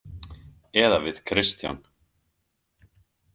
Eða við Kristján.